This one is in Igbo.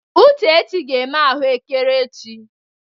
Uchechi ga-eme ahụekere echi.